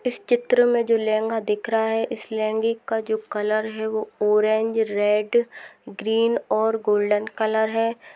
इस चित्र मे जो लहगा दिख रहा है उस लहगे का जो कलर है वो ऑरेज रेड ग्रीन और गोल्डन कलर है।